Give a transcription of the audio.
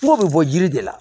Kungo bɛ bɔ jiri de la